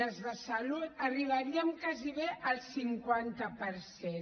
les de salut arribaríem gairebé al cinquanta per cent